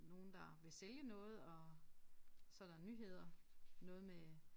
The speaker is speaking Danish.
Nogen der vil sælge noget og så der nyheder noget med